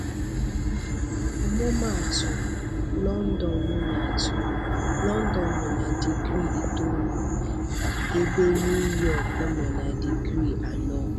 Ọmụma atụ, London nọ atụ, London nọ na digrii itoolu, ebe NuYọk nọ na digrii anọ.